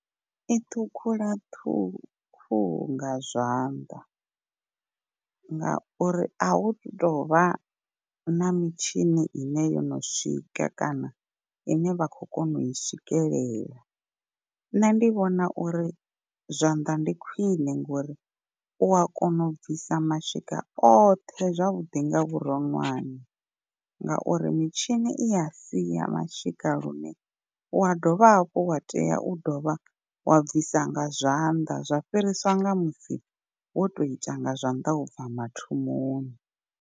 I ṱhukhula khuhu nga zwanḓa, ngauri a hu tovha na mitshini ine yono swika kana ine vha khou kona u i swikelela. Nṋe ndi vhona uri zwanḓa ndi khwine ngori u a kona u bvisa mashika oṱhe zwavhuḓi nga vhuroṅwane, ngauri mitshini i ya sia mashika lune wa dovha hafhu wa tea u dovha wa bvisa nga zwanḓa zwa fhiriswa nga musi wo tou ita nga zwanḓa ubva mathomoni.